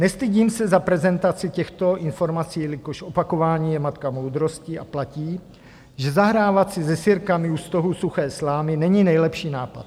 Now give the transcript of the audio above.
Nestydím se za prezentaci těchto informací, jelikož opakování je matka moudrosti a platí, že zahrávat si se sirkami u stohu suché slámy není nejlepší nápad.